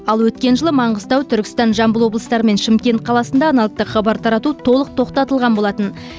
ал өткен жылы маңғыстау түркістан жамбыл облыстары мен шымкент қаласында аналогтық хабар тарату толық тоқтатылған болатын